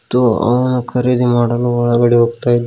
ಮತ್ತು ಅವನ ಖರೀದಿ ಮಾಡಲು ಒಳಗೆ ಹೋಗ್ತಾ ಇದ್ದಾ--